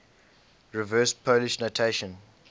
reverse polish notation